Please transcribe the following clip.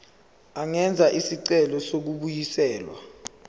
angenza isicelo sokubuyiselwa